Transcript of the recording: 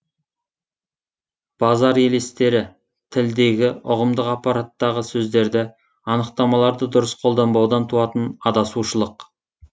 базар елестері тілдегі ұғымдық аппараттағы сөздерді анықтамаларды дұрыс қолданбаудан туатын адасушылық